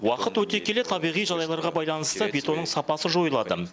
уақыт өте келе табиғи жағдайларға байланысты бетонның сапасы жойылады